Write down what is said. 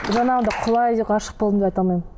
жаңағыдай құлай ғашық болдым деп айта алмаймын